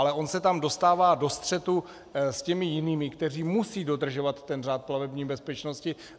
Ale on se tam dostává do střetu s těmi jinými, kteří musí dodržovat ten řád plavební bezpečnosti.